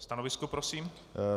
Stanovisko prosím?